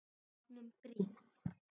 Bátnum brýnt.